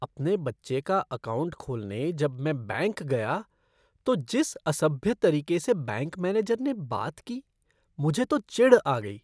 अपने बच्चे का अकाउंट खोलने जब में बैंक गया तो जिस असभ्य तरीके से बैंक मैनेजर ने बात की, मुझे तो चिढ़ आ गई।